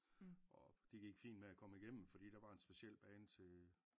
Og det gik fint med at komme igennem fordi der var en speciel bane til